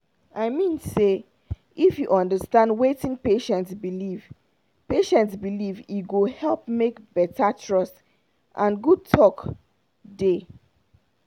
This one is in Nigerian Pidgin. i mean say if you understand wetin patient believe patient believe e go help make better trust and good talk dey.